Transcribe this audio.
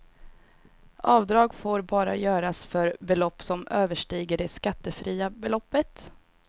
Avdrag får bara göras för belopp som överstiger det skattefria beloppet.